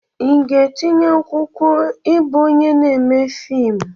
Ị ga-etinye akwụkwọ ịbụ onye na-eme fiimu?